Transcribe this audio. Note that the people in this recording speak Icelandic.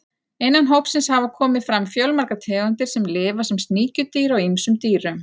Innan hópsins hafa komið fram fjölmargar tegundir sem lifa sem sníkjudýr á ýmsum dýrum.